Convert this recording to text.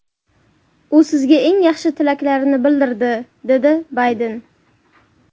U sizga eng yaxshi tilaklarini bildirdi”, dedi Bayden.